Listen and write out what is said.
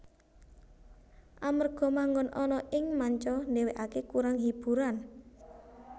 Amarga manggon ana ing manca dhewekè kurang hiburan